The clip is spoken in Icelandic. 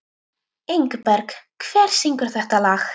Ingberg, hver syngur þetta lag?